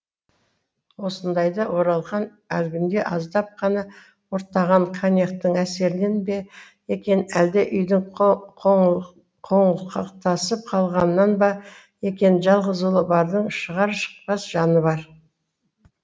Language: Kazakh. осыдайда оралхан әлгінде аздап қана ұрттаған коньяктің әсерінен бе екен әлде үйдің қоңылтақсып қалғанынан ба екен жалғыз ұлы бардың шығар шықпас жаны бар